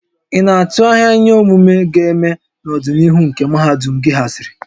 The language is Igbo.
Ị na-atụ anya ihe omume ga-eme n'ọdịnihu nke mahadum gị haziri?